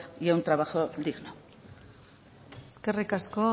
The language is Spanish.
y a un trabajo digno eskerrik asko